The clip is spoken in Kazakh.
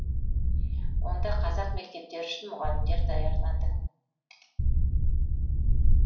онда қазақ мектептері үшін мұғалімдер даярланды